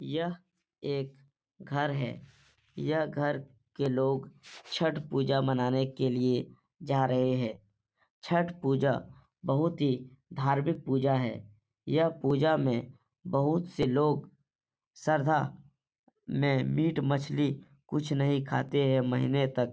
यह एक घर है। यह घर के लोग छठ पूजा मनाने के लिए जा रहें हैं। छठ पूजा बहुत ही धार्मिक पूजा है। यह पूजा में बहुत से लोग श्रद्धा में मिट मछ्ली कुछ नही खाते हैं महीने तक।